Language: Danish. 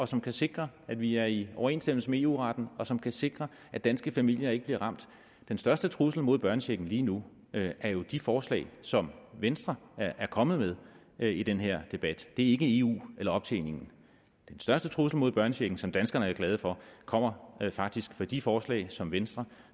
som kan sikre at vi er i overensstemmelse med eu retten og som kan sikre at danske familier ikke bliver ramt den største trussel mod børnechecken lige nu er jo de forslag som venstre er kommet med i den her debat det er ikke eu eller optjeningen den største trussel mod børnechecken som danskerne er glade for kommer faktisk fra de forslag som venstre